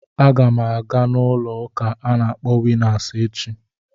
Agam aga n'ulo uka a na akpọ winnas echi.